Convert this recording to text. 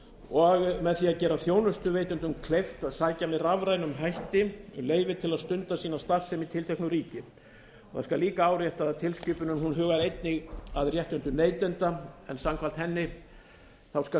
og með því að gera þjónustuveitendum kleift að sækja með rafrænum hætti um leyfi til að stunda sína starfsemi í tilteknu ríki það skal líka áréttað að tilskipunin hljóðar einnig að réttindum neytenda en samkvæmt henni skal